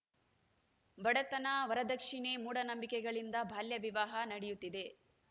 ಬಡತನ ವರದಕ್ಷಿಣೆ ಮೂಢನಂಬಿಕೆಗಳಿಂದ ಬಾಲ್ಯ ವಿವಾಹ ನಡೆಯುತ್ತಿವೆ